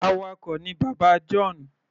Awakọ̀ ni bàbá John.